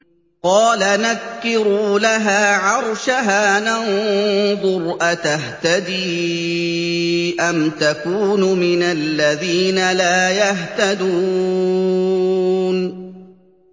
قَالَ نَكِّرُوا لَهَا عَرْشَهَا نَنظُرْ أَتَهْتَدِي أَمْ تَكُونُ مِنَ الَّذِينَ لَا يَهْتَدُونَ